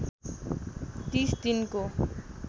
३० दिनको